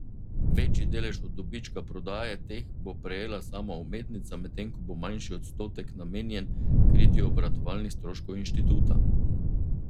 Večji delež od dobička prodaje teh bo prejela sama umetnica, medtem ko bo manjši odstotek namenjen kritju obratovalnih stroškov inštituta.